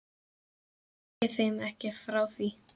Segi þeim ekki frá því.